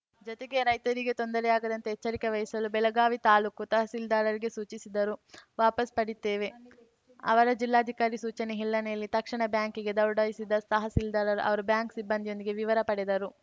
ಜತೆಗೆ ರೈತರಿಗೆ ತೊಂದರೆಯಾಗದಂತೆ ಎಚ್ಚರಿಕೆ ವಹಿಸಲು ಬೆಳಗಾವಿ ತಾಲೂಕು ತಹಸೀಲ್ದಾರರಿಗೆ ಸೂಚಿಸಿದರು ವಾಪಸ್‌ಪಡೀತೇವೆ ಅವರ ಜಿಲ್ಲಾಧಿಕಾರಿ ಸೂಚನೆ ಹಿನ್ನೆಲೆಯಲ್ಲಿ ತಕ್ಷಣ ಬ್ಯಾಂಕಿಗೆ ದೌಡಾಯಿಸಿದ ತಹಸೀಲ್ದಾರ್‌ ಅವರು ಬ್ಯಾಂಕ್‌ ಸಿಬ್ಬಂದಿಯೊಂದಿಗೆ ವಿವರ ಪಡೆದರು